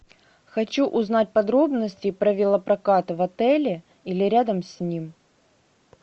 хочу узнать подробности про велопрокат в отеле или рядом с ним